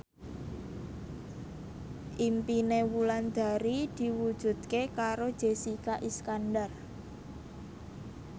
impine Wulandari diwujudke karo Jessica Iskandar